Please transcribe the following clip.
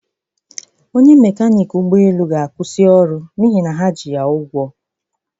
Onye mekanịk ụgbọelu ga-akwụsị ọrụ n'ihi na ha ji ya ụgwọ